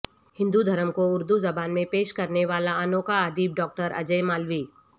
ہندو دھرم کو اردو زبان میں پیش کرنے والا انوکھا ادیب ڈاکٹر اجے مالوی